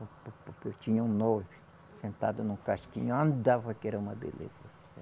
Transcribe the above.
Eu tinha nove sentado num casquinho, andava que era uma beleza.